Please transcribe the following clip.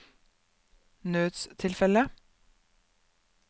nødstilfelle